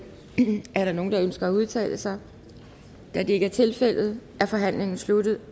er der nogen der ønsker at udtale sig da det ikke tilfældet er forhandlingen sluttet